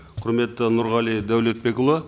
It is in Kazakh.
құрметті нұрғали дәулетбекұлы